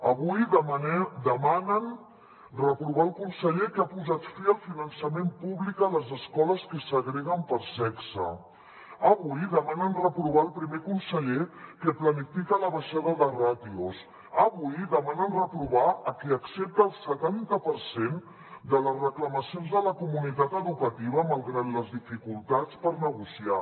avui demanen reprovar el conseller que ha posat fi al finançament públic a les escoles que segreguen per sexe avui demanen reprovar el primer conseller que planifica la baixada de ràtios avui demanen reprovar a qui accepta el setanta per cent de les reclamacions de la comunitat educativa malgrat les dificultats per negociar